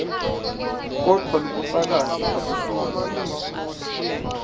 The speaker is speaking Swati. kodvwa lobufakazi abusibo